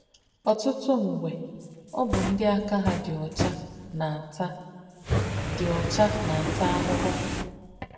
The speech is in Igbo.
Ọtụtụ mgbe, ọ bụ ndị aka ha dị ọcha na-ata dị ọcha na-ata ahụhụ.